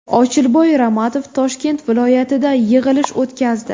Ochilboy Ramatov Toshkent viloyatida yig‘ilish o‘tkazdi.